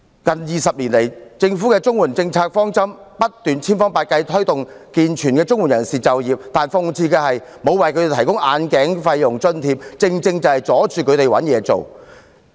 近20年來，政府的綜援政策方針是千方百計推動健全綜援人士就業，但諷刺的是，政府沒有為他們提供眼鏡費用津貼，正正阻礙了他們求職。